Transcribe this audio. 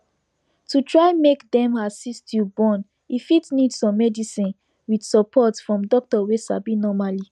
to try make them assist you born e fit need some medicine with support from doctor wey sabi normally